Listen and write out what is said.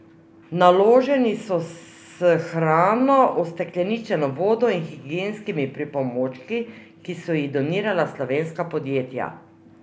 Naloženi so s hrano, ustekleničeno vodo in higienskimi pripomočki, ki so jih donirala slovenska podjetja.